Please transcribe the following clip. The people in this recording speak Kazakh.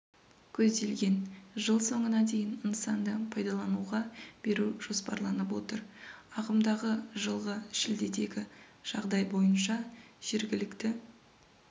көзделген жыл соңына дейін нысанды пайдалануға беру жоспарланып отыр ағымдағы жылғы шілдедегі жағдай бойынша жергілікті